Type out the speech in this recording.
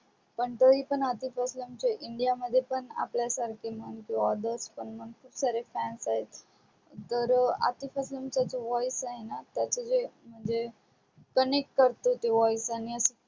पण तरी पण आतिफ अस्लम चे इंडिया मध्ये आपल्यासारखे किंवा others पण म्हण खूप सारे fans आहेत तर voice आहे ना ते म्हणजे connect करत ते voice आणि